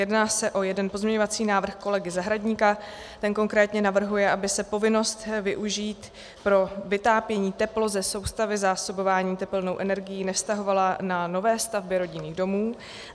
Jedná se o jeden pozměňovací návrh kolegy Zahradníka - ten konkrétně navrhuje, aby se povinnost využít pro vytápění teplo ze soustavy zásobování tepelnou energií nevztahovala na nové stavby rodinných domů.